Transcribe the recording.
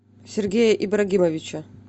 сергея ибрагимовича